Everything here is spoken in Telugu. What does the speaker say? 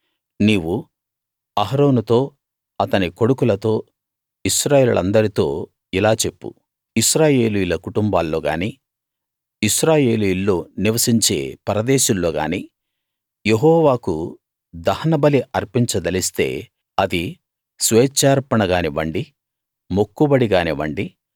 నీవు అహరోనుతో అతని కొడుకులతో ఇశ్రాయేలీయులందరితో ఇలా చెప్పు ఇశ్రాయేలీయుల కుటుంబాల్లో గానీ ఇశ్రాయేలీయుల్లో నివసించే పరదేశుల్లోగాని యెహోవాకు దహన బలి అర్పించదలిస్తే అది స్వేచ్ఛార్పణగానివ్వండి మొక్కుబడి గానివ్వండి